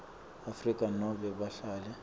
afrika nobe bahlali